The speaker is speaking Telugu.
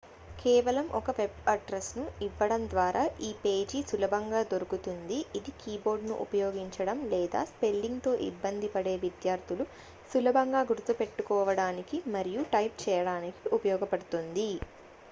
కేవలం ఒక వెబ్ అడ్రెస్ను ఇవ్వడం ద్వారా ఈ పేజీ సులభంగా దొరుకుతుంది ఇది కీబోర్డ్ను ఉపయోగించడం లేదా స్పెల్లింగ్తో ఇబ్బంది పడే విద్యార్థులు సులభంగా గుర్తుపెట్టుకోడానికి మరియు టైప్ చేయడానికి ఉపయోగపడుతుంది